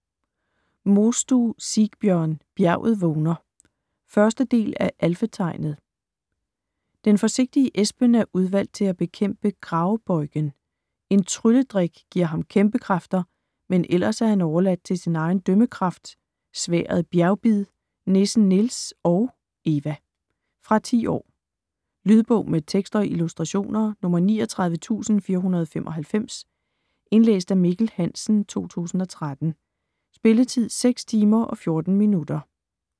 Mostue, Sigbjørn: Bjerget vågner 1. del af Alfetegnet. Den forsigtige Espen er udvalgt til at bekæmpe Gravbøjgen. En trylledrik giver ham kæmpekræfter, men ellers er han overladt til sin egen dømmekraft, sværdet Bjergbid, nissen Nils og - Eva. Fra 10 år. Lydbog med tekst og illustrationer 39495 Indlæst af Mikkel Hansen, 2013. Spilletid: 6 timer, 14 minutter.